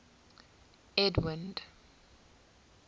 edwind